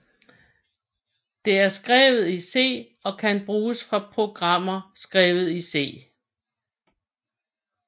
Det er skrevet i C og kan bruges fra programmer skrevet i C